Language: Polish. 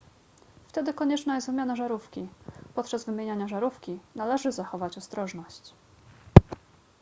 wtedy konieczna jest wymiana żarówki podczas wymieniania żarówki należy zachować ostrożność